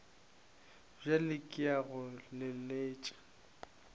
bjale ke ya go leletša